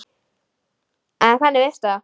En hvernig veistu það?